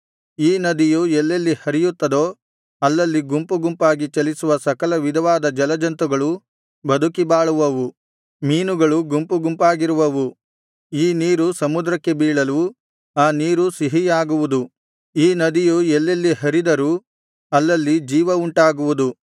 ಈ ನದಿಯು ಎಲ್ಲೆಲ್ಲಿ ಹರಿಯುತ್ತದೋ ಅಲ್ಲಲ್ಲಿ ಗುಂಪು ಗುಂಪಾಗಿ ಚಲಿಸುವ ಸಕಲ ವಿಧವಾದ ಜಲಜಂತುಗಳು ಬದುಕಿ ಬಾಳುವವು ಮೀನುಗಳು ಗುಂಪು ಗುಂಪಾಗಿರುವವು ಈ ನೀರು ಸಮುದ್ರಕ್ಕೆ ಬೀಳಲು ಆ ನೀರೂ ಸಿಹಿಯಾಗುವುದು ಈ ನದಿಯು ಎಲ್ಲೆಲ್ಲಿ ಹರಿದರೂ ಅಲ್ಲಲ್ಲಿ ಜೀವವುಂಟಾಗುವುದು